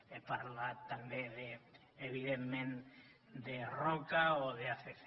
he parlat també evidentment de roca o d’acc